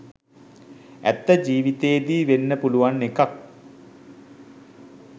ඇත්ත ජීවිතයේදී වෙන්න පුළුවන් එකක්.